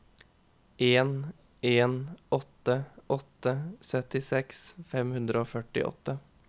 en en åtte åtte syttiseks fem hundre og førtiåtte